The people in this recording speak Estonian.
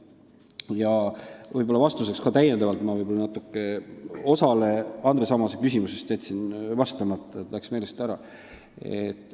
Ütlen nüüd täiendava vastuse, sest ma võib-olla jätsin osale Andres Ammase küsimusest vastamata, see läks lihtsalt meelest ära.